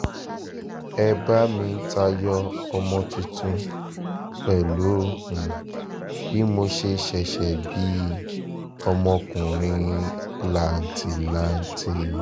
ẹ bá mi tayọ ọmọ tuntun pẹ̀lú um bí mo ṣe ṣẹ̀ṣẹ̀ bí um ọmọkùnrin làǹtìlanti